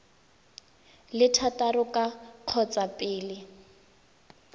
le thataro ka kgotsa pele